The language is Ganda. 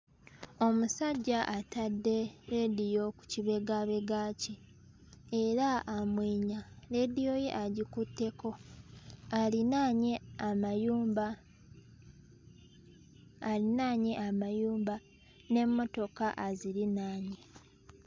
Omusajja atadde leediyo ku kibegaabega kye era amwenya leediyo ye agikutteko alinaanye amayumba alinaanye amayumba n'emmotoka azirinaanye.